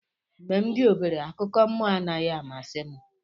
Mgbe m dị obere, akụkọ mmụọ anaghị amasị m.